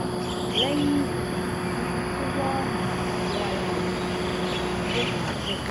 lẹ́yìn ìwẹ̀ mo fi tówẹ́ẹ̀nù wé ara mi mo sì jókòó jẹ́ẹ́jẹ́